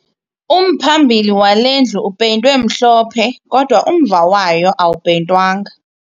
Umphambili wale ndlu upeyintwe mhlophe kodwa umva wayo awupeyintwanga